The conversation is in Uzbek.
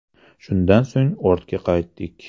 Shundan so‘ng ortga qaytdik.